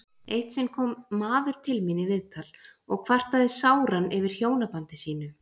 Eitt sinn kom maður til mín í viðtal og kvartaði sáran yfir hjónabandi sínu.